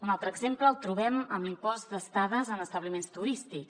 un altre exemple el trobem amb l’impost d’estades en establiments turístics